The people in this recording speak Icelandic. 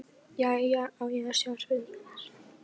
Jæja, á ég að sjá um spurningarnar?